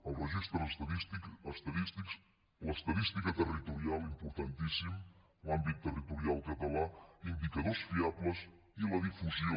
els registres estadístics l’estadística territorial importantíssim l’àmbit territorial català indicadors fiables i la difusió